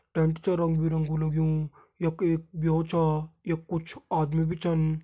टेंट छ रंग बिरंगु लग्युं यख एक ब्यो छ यख कुछ आदमी भी छन ।